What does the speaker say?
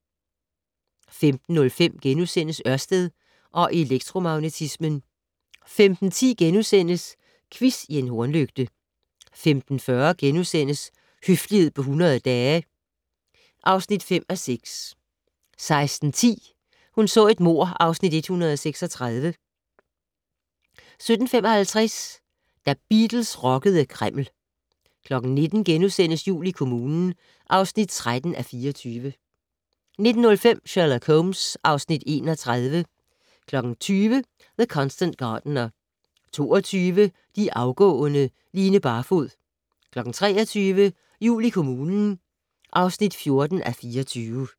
15:05: Ørsted og elektromagnetismen * 15:10: Quiz i en hornlygte * 15:40: Høflighed på 100 dage (5:6)* 16:10: Hun så et mord (Afs. 136) 17:55: Da Beatles rockede Kreml 19:00: Jul i kommunen (13:24)* 19:05: Sherlock Holmes (Afs. 31) 20:00: The Constant Gardener 22:00: De afgående: Line Barfod 23:00: Jul i kommunen (14:24)